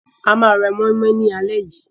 A máa ra mọ́í-mọ́í lálẹ́ yìí.